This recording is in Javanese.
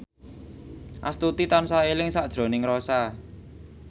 Astuti tansah eling sakjroning Rossa